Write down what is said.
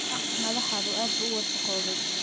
Dhaq madaxaagu aad buu u wasakhoobay.